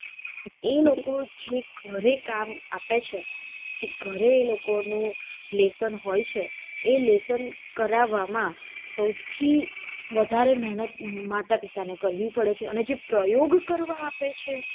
એ લોકો જે ઘરે કામ આપે છે જે ઘરે એ લોકો નું લેસન હોય છે એ લેસન કરાવામાં સૌથી વધારે મેહનત માતા પિતા ને કરવી પડે છે અને જે પ્રયોગ કરવા આપે છે.